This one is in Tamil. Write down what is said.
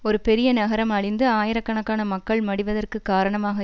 ஒரு பெரிய நகரம் அழிந்து ஆயிரக்கணக்கான மக்கள் மடிவதற்கு காரணமாக